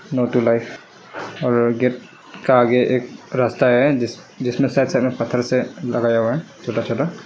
और गेट का आगे एक रस्ता है जिसमें शायद पत्थर से लगाया हुआ है छोटा छोटा।